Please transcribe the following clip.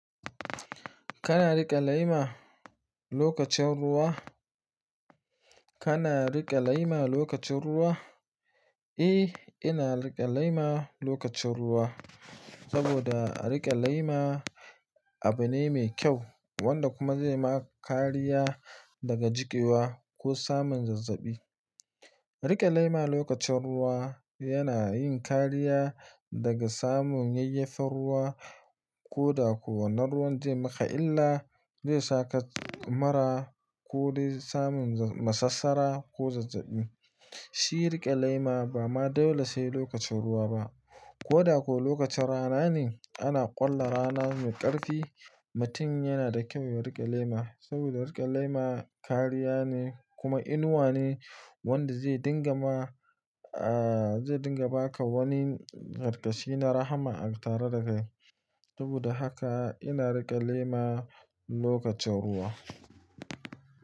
Kana riƙe lema lokacin ruwa? Kana riƙe lema lokacin ruwa? Eh, ina riƙe lema lokacin ruwa saboda riƙe lema abu ne mai kyau wanda kuma zai ma kariya daga jikewa ko samun zazzabi. Riƙe lema lokacin ruwa yana yin kariya daga samun yayyafar ruwa ko da kuwa na ruwan da ya yi maka illa, zai saka mara ko dai samun masassara ko zazzabi. Shi riƙe lema ba ma dole sai lokacin ruwa ba, ko da kuwa lokacin rana ne ana ƙulla rana mai ƙarfi, mutum yana da kyau yayi riƙe lema saboda riƙe lema kariya ne kuma inuwa ne wanda zai dinga ma, ah zai dinga ba ka wani ƙarkashi na rahma tare da kai. Saboda haka ina riƙe lema lokacin ruwa.